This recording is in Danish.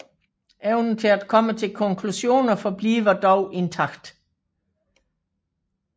Evnen til at komme til konklusioner forbliver dog intakt